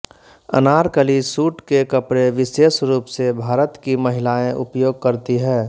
Anarkali suit के कपड़े विशेष रूप से भारत कि महिलाऍ उपयोग करती है